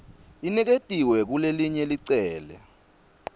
iniketiwe kulelelinye licele